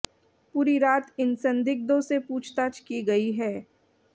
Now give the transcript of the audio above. पूरी रात इन संदिग्धों से पूछताछ की गई है